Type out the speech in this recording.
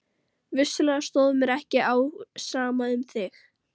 Vissulega stóð mér ekki á sama um þig.